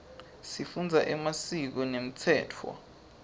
sifundza emasiko nemtsetfo